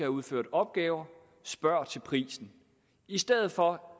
udført opgaver spørger til prisen i stedet for